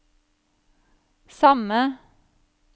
samme